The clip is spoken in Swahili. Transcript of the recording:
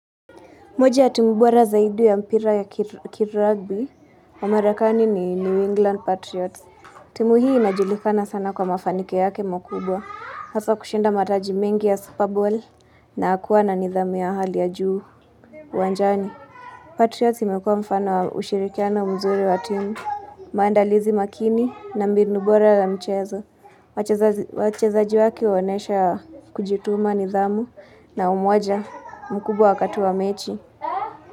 Moja ya timu bora zaidi ya mpira ya kirugby wa marakani ni New England Patriots. Timu hii inajulikana sana kwa mafanikio yake mkubwa. Hasa kushinda mataji mengi ya superball na kuwa na nidhamu ya hali ya juu uwanjani. Patriots imekuwa mfano wa ushirikiano mzuri wa timu, maandalizi makini na mbinu bora la mchezo wachezaji wachezaji wake huonyesha kujituma nidhamu na umoja mkubwa wakati wa mechi.